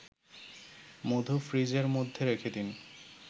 মধু ফ্রিজের মধ্যে রেখে দিন